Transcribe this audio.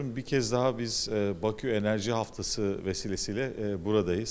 Bir daha biz Bakı Enerji Həftəsi vasitəsilə buradayıq.